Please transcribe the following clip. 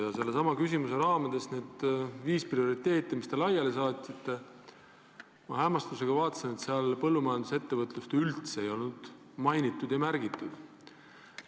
Aga sellesama küsimuse raamides ma vaatasin neid viit prioriteeti, mis te seadnud olete, ja hämmastusega avastasin, et seal põllumajandusettevõtlust ei ole märgitud.